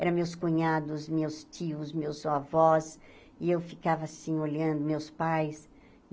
Eram meus cunhados, meus tios, meus avós, e eu ficava assim olhando meus pais.